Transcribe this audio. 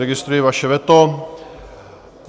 Registruji vaše veto.